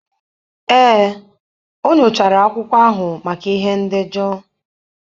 Ee, o nyochara akwụkwọ ahụ maka ihe ndejọ.